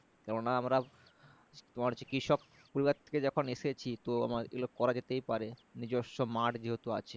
কেননা আমরা তোমার হচ্ছে কৃষক পরিবার থেকে যখন এসেছি তো আমার এগুলো করা যেতেই পারে নিজেস্ব মাঠ যেহেতু আছে